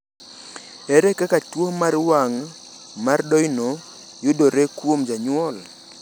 Ere kaka tuwo mar wang’ mar Doyne yudore kuom jonyuol?